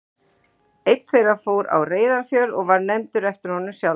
Einn þeirra fór á Reyðarfjörð og var nefndur eftir honum sjálfum.